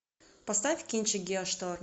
поставь кинчик геошторм